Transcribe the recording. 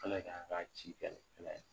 Ala' k'an k'a ci kɛlɛ kɛlɛ ye.